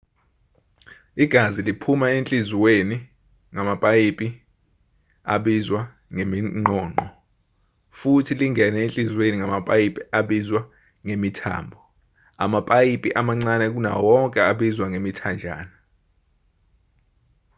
igazi liphuma enhliziyweni ngamapayipi abizwa ngeminqonqo futhi lingene enhliziyweni ngamapayipi abizwa ngemithambo amapayipi amancane kunawo wonke abizwa ngemithanjana